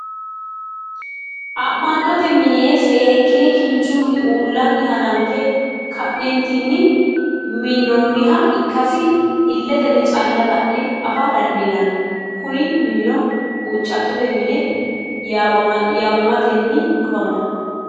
ama'notte minni seekine kinchunni uulani hananffe ka'neentinni minoonha ikasi iletenni cala la'ne affa dandiinanni kunni minnino huucattote minne yaamamatenni afamanno